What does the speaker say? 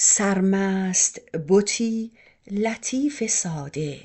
سرمست بتی لطیف ساده